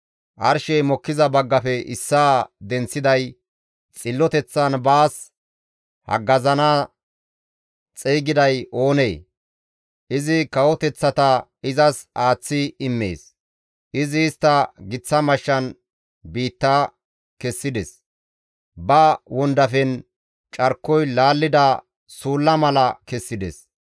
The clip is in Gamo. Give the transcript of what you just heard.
Arshey mokkiza baggafe issaa denththiday, xilloteththan baas haggazissana xeygiday oonee? Izi kawoteththata izas aaththi immees; izi istta giththa mashshan biitta kessides; ba wondafen carkoy laallida suulla mala kessides.